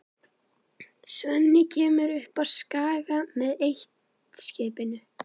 Svenni kemur upp á Skaga með eitt-skipinu.